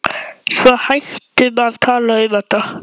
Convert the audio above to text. Besti samherjinn á ferlinum?